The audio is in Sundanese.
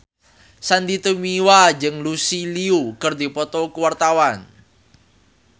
Sandy Tumiwa jeung Lucy Liu keur dipoto ku wartawan